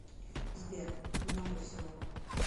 сбер много всего